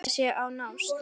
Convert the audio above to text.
Það markmið sé að nást.